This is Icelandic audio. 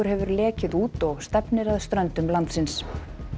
hefur lekið út og stefnir að ströndum landsins